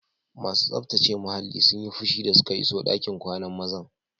Masu tsaftace muhallin sun yi fushi da suka iso ɗakin kwanan mazan.